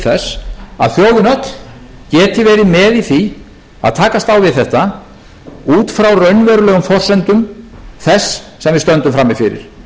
verið með í því að takast á við þetta út frá raunverulegum forsendum þess sem við stöndum frammi fyrir